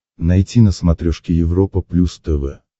найти на смотрешке европа плюс тв